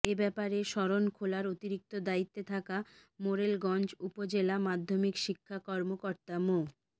এ ব্যাপারে শরণখোলার অতিরিক্ত দায়িত্বে থাকা মোরেলগঞ্জ উপজেলা মাধ্যমিক শিক্ষা কর্মকর্তা মো